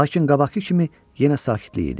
Lakin qabaqkı kimi yenə sakitlik idi.